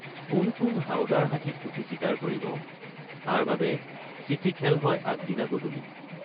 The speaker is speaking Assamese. কোন কোন হাউদাৰ হাতীত উঠি চিকাৰ কৰিব তাৰবাবে চিঠিখেল হয় আগদিনা গধূলি।